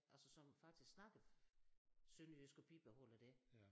Altså som faktisk snakker sønderjysk og bibeholder det